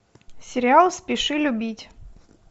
сериал спеши любить